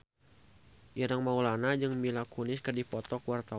Ireng Maulana jeung Mila Kunis keur dipoto ku wartawan